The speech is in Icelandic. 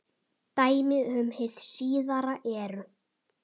Dæmi um hið síðara eru